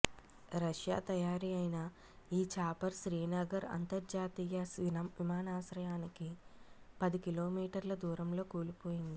Russia తయారీ అయిన ఈ చాపర్ శ్రీనగర్ అంతర్జాతీయ విమానాశ్రయానికి పది కిలోమీటర్ల దూరంలో కూలిపోయింది